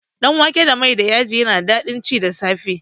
Danwake da mai da yaji yana da daɗin ci da safe